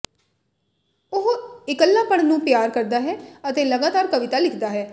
ਉਹ ਇਕੱਲਾਪਣ ਨੂੰ ਪਿਆਰ ਕਰਦਾ ਹੈ ਅਤੇ ਲਗਾਤਾਰ ਕਵਿਤਾ ਲਿਖਦਾ ਹੈ